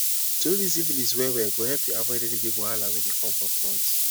to know this syphilis well well go help u avoid any big wahala were dey come for front